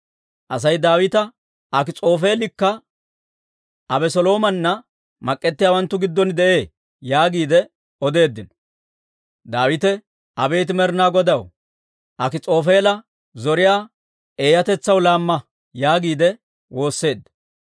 Asay Daawitaw, «Akis'oofeelikka Abeseloomanna mak'k'ettiyaawanttu giddon de'ee» yaagiide odeeddino. Daawite, «Abeet Med'inaa Godaw, Akis'oofeela zoriyaa eeyyatetsaw laamma» yaagiide woosseedda.